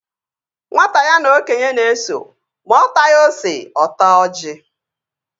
Nwata ya na okenye na-eso, ma ọ taghi ose, ọ taa ọji